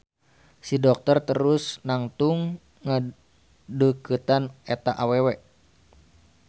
Si dokter terus nangtung ngadeukeutan eta awewe.